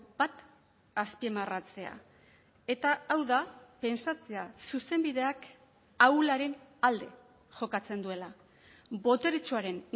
bat azpimarratzea eta hau da pentsatzea zuzenbideak ahularen alde jokatzen duela boteretsuaren